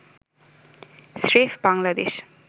স্রেফ বাংলাদেশ